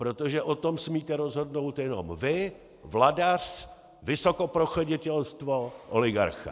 Protože o tom smíte rozhodnout jenom vy, vladař, vysokoprevoschoditělstvo, oligarcha.